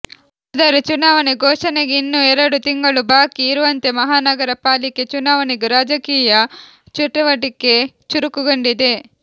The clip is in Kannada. ಆದರೆ ಚುನಾವಣೆ ಘೋಷಣೆಗೆ ಇನ್ನೂ ಎರಡು ತಿಂಗಳು ಬಾಕಿ ಇರುವಂತೆ ಮಹಾನಗರ ಪಾಲಿಕೆ ಚುನಾವಣೆಗೂ ರಾಜಕೀಯ ಚಟುವಟಿಕೆ ಚುರುಕುಗೊಂಡಿದೆ